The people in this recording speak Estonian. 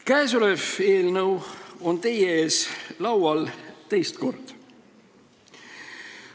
Käesolev eelnõu on teie ees laual teist korda.